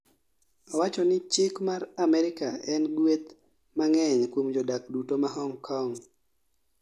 owacho ni chik mar Amerika en gweth mangeny kuom jodak duto ma Hong Kong